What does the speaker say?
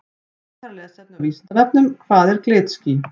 Frekara lesefni á Vísindavefnum Hvað eru glitský?